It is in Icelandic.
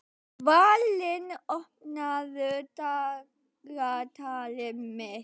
Dvalinn, opnaðu dagatalið mitt.